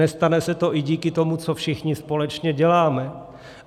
Nestane se to i díky tomu, co všichni společně děláme.